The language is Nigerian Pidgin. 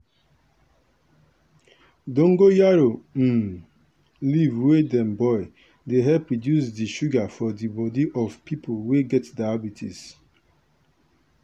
dongoyaro um leaf wey dem boil dey help reduce di sugar for di body of pipo wey get diabetes.